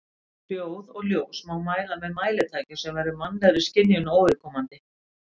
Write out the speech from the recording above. hljóð og ljós má mæla með mælitækjum sem eru mannlegri skynjun óviðkomandi